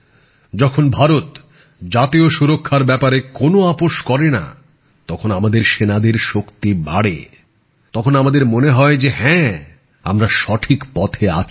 যখন ভারত জাতীয় সুরক্ষার ব্যাপারে কোন আপোষ করেনা তখন আমাদের সেনাদের শক্তি বাড়ে তখন আমাদের মনে হয় যে হ্যাঁ আমরা সঠিক পথে আছি